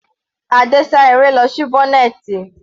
Adé sá eré lọ sí bọ́nẹ̀tì.